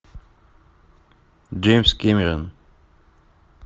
джеймс кэмерон